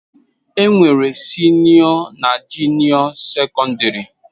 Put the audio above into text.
Enwere Sinio na junio secondary.